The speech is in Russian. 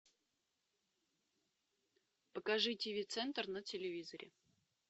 покажи тв центр на телевизоре